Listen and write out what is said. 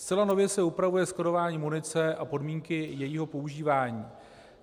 Zcela nově se upravuje skladování munice a podmínky jejího používání.